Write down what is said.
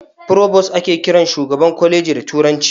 "Provost" ake kiran shugaban kwaleji da turanci.